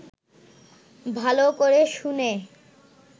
ভালো করে শুনে